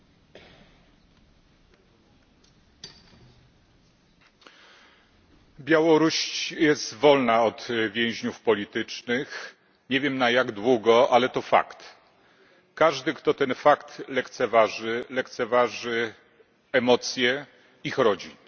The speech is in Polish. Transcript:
Pani Przewodnicząca! Białoruś jest wolna od więźniów politycznych, nie wiem na jak długo, ale to fakt. Każdy kto ten fakt lekceważy, lekceważy emocje ich rodzin.